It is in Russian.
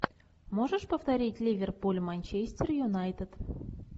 можешь повторить ливерпуль манчестер юнайтед